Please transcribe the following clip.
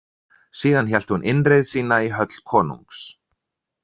Síðan hélt hún innreið sína í höll konungs.